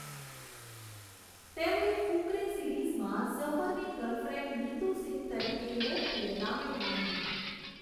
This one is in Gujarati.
તેમણે 'ફુકરે' સિરીઝમાં ઝફરની ગર્લફ્રેન્ડ નીતુ સિંઘ તરીકે લોકપ્રિયતા મેળવી હતી.